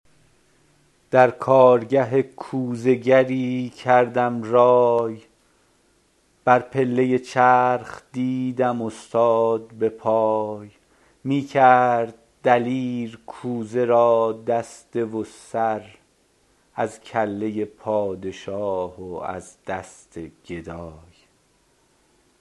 در کارگه کوزه گری کردم رای بر پله چرخ دیدم استاد به پای می کرد دلیر کوزه را دسته و سر از کله پادشاه و از دست گدای